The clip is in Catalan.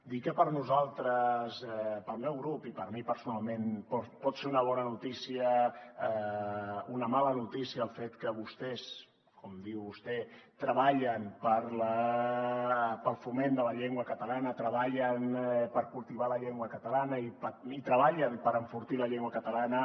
dir que per nosaltres pel meu grup i per mi personalment pot ser una mala notícia el fet que vostès com diu vostè treballen pel foment de la llengua catalana treballen per cultivar la llengua catalana i treballen per enfortir la llengua catalana